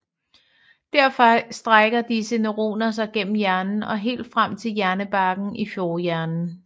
Derfra strækker disse neuroner sig gennem hjernen og helt frem til hjernebarken i forhjernen